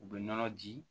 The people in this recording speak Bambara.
U bɛ nɔnɔ di